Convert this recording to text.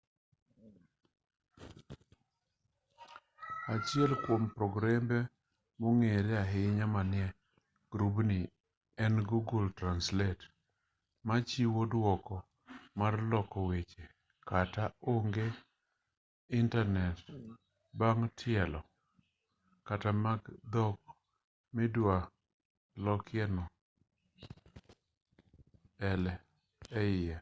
achiel kuom progrembe mong'ere ahinya manie grubni en google translate ma chiwo thuolo mar loko weche kata onge intanet bang' tielo data mag dhok midwa lokie no eie